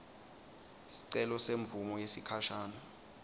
sicelo semvumo yesikhashane